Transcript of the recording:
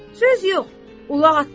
Söz yox, ulaq atdan yaxşıdır.